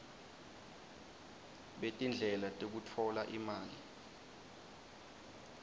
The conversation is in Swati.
betindlela tekutfola imali